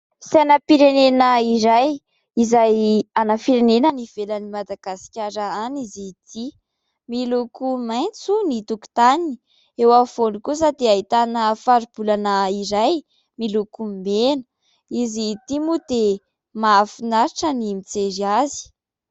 Sainam-pirenena iray izay an'ny firenena ny ivelan'ny Madagasikara any izy ity, miloko maintso ny tokontaniny, eo amin'ny voany kosa dia ahitana faribolana iray miloko mena ; izy ity moa dia mahafinaritra ny mijery azy.